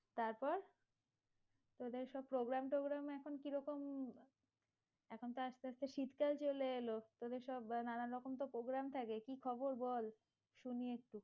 তারপর? তোদের সব programme ট্রগ্রাম এখন কি রকম? এখন তো আস্তে আস্তে শীত টাও চলে এলো, তোদের সব নানান রকম সব programme থাকে, কি খবর বল? শুনি একটু